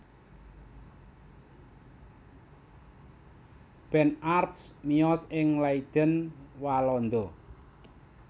Ben Arps miyos ing Leiden Walanda